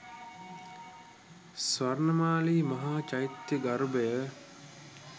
ස්වර්ණමාලි මහා චෛත්‍ය ගර්භය